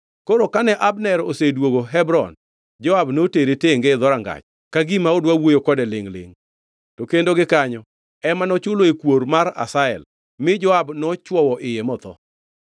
Koro kane Abner osedwogo Hebron, Joab notere tenge e dhorangach; ka gima odwa wuoyo kode lingʼ-lingʼ. To kendo gikanyo, ema nochuloe kuor mar Asahel, mi Joab nochwowo iye motho.